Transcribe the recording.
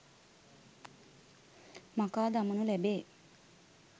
මකාදමනු ලැබේ.